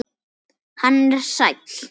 Hann er sæll.